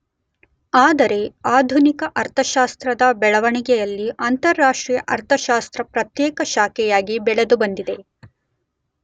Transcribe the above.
ಆದರೆ ಆಧುನಿಕ ಅರ್ಥಶಾಸ್ತ್ರದ ಬೆಳವಣಿಗೆಯಲ್ಲಿ ಅಂತಾರಾಷ್ಟ್ರೀಯ ಅರ್ಥಶಾಸ್ತ್ರ ಪ್ರತ್ಯೇಕ ಶಾಖೆಯಾಗಿ ಬೆಳೆದು ಬಂದಿದೆ.